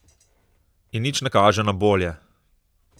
In nič ne kaže na bolje.